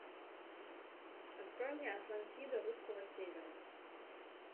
открой мне атлантида русского севера